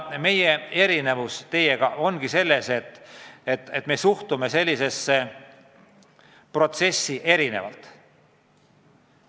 Meie erinevus teiega ongi ehk selles, et me suhtume sellisesse protsessi erinevalt.